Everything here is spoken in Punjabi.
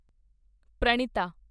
ਪ੍ਰਣਿਤਾ